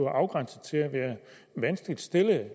afgrænset til at være vanskeligt stillede at